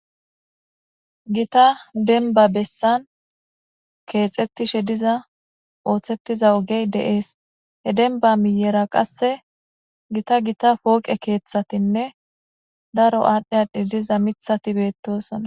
gita denba bessan keexettishe diza ooththettiza ogey de7ees he denba miyera qasse gita gita pooqe keeththatinne daro aadhdhe a diliza mithati beettosona